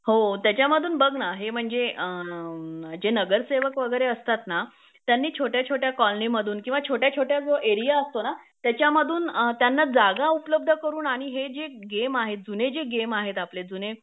हो त्यांच्यामधून बघ ना हे म्हणजे अ जे नगरसेवक वगैरे असतात ना त्यांनी छोट्याछोट्या कॉलोनीमधून किंवा छोट्याछोट्या जो एरिया असतो ना त्यांच्यामधून त्यांना जागा उपलब्ध करून आणि हे जे गेम आहेत जुने जे गेम आहेत आपले जुने